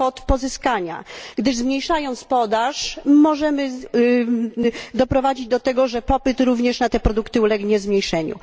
kwot pozyskania, gdyż zmniejszając podaż, możemy doprowadzić do tego, że również popyt na te produkty ulegnie zmniejszeniu.